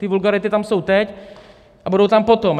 Ty vulgarity tam jsou teď a budou tam potom.